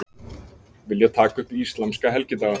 Vilja taka upp íslamska helgidaga